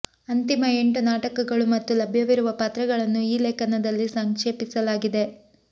ಅಂತಿಮ ಎಂಟು ನಾಟಕಗಳು ಮತ್ತು ಲಭ್ಯವಿರುವ ಪಾತ್ರಗಳನ್ನು ಈ ಲೇಖನದಲ್ಲಿ ಸಂಕ್ಷೇಪಿಸಲಾಗಿದೆ